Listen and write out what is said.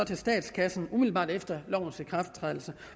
til statskassen umiddelbart efter lovens ikrafttrædelse